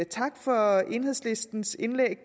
tak for enhedslistens indlæg